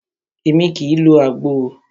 Émi kìí lo àgbo o.